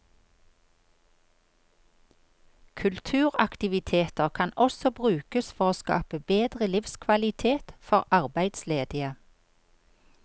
Kulturaktiviteter kan også brukes for å skape bedre livskvalitet for arbeidsledige.